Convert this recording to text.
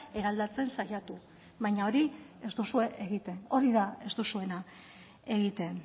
eraldatzen saiatu baina hori ez duzue egiten hori da ez duzuena egiten